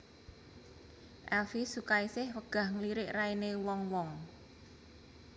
Elvi Sukaesih wegah ngelirik raine wong wong